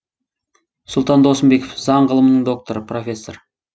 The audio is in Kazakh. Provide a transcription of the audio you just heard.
сұлтан досымбеков заң ғылымының докторы профессор